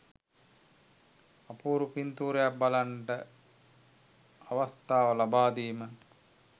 අපූරු පින්තූරයක් බලන්නට අවස්ථාව ලබාදීම